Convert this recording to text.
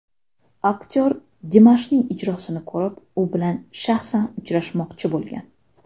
Aktor Dimashning ijrosini ko‘rib, u bilan shaxsan uchrashmoqchi bo‘lgan.